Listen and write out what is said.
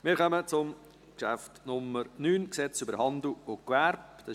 Wir kommen zum Traktandum Nummer 9, Gesetz über Handel und Gewerbe (HGG).